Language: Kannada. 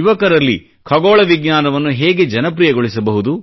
ಯುವಕರಲ್ಲಿ ಖಗೋಳ ವಿಜ್ಞಾನವನ್ನು ಹೇಗೆ ಜನಪ್ರಿಯಗೊಳಿಸಹುದು